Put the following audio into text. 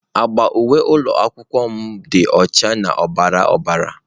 Agba uwe ụlọ akwụkwọ m dị ọcha na ọbara ọbara.